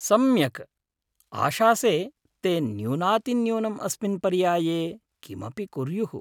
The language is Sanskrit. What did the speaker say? सम्यक्, आशासे ते न्यूनातिन्यूनम् अस्मिन् पर्याये किमपि कुर्युः।